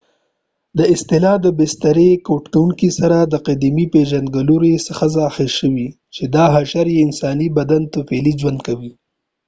دا اصطلاح د بسترې کوټکو سره قدیمې پېژندګلوۍ څخه اخذ شوې چې دا حشرې په انساني بدن طفیلي ژوند کوي